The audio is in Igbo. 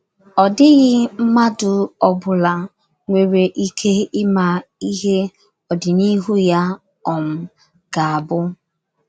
Ọ dịghị mmadụ ọ bụla nwere ike ịma ihe ọdịnihu ya um ga - abụ.